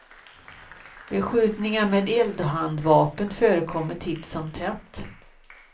Beskjutningar med eldhandvapen förekommer titt som tätt.